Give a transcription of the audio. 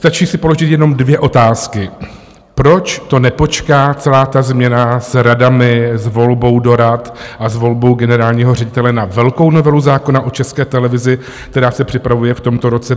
Stačí si položit jenom dvě otázky: Proč nepočká celá ta změna s radami, s volbou do rad a s volbou generálního ředitele na velkou novelu zákona o České televizi, která se připravuje v tomto roce?